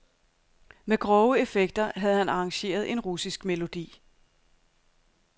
Med grove effekter havde han arrangeret en russisk melodi.